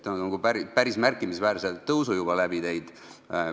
See on päris märkimisväärse tõusu juba läbi teinud.